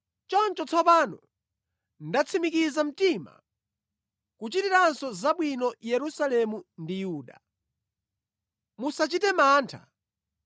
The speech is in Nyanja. “Choncho tsopano ndatsimikiza mtima kuchitiranso zabwino Yerusalemu ndi Yuda. Musachite mantha.